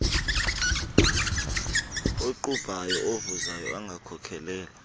okuqubha avuzayo angakhokelela